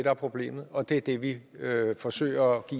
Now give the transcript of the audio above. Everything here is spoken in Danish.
er problemet og det er det vi forsøger at